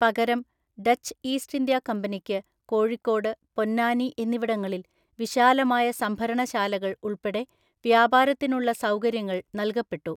പകരം Dutch East India കമ്പനിയ്ക്ക് കോഴിക്കോട്, പൊന്നാനി എന്നിവിടങ്ങളിൽ വിശാലമായ സംഭരണശാലകൾ ഉൾപ്പെടെ വ്യാപാരത്തിനുള്ള സൗകര്യങ്ങൾ നൽകപ്പെട്ടു.